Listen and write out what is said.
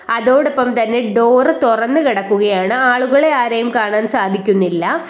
അതോടൊപ്പം തന്നെ ഡോറ് തൊറന്ന് കെടക്കുകയാണ് ആളുകളെ ആരെയും കാണാൻ സാധിക്കുന്നില്ല.